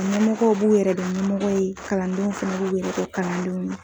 Ɲɛmɔgɔw b'u yɛrɛ dɔn ɲɛmɔgɔ ye, kalandenw fɛnɛ b'u kɛ karandenw ye